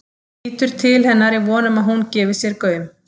Lítur til hennar í von um að hún gefi sér gaum.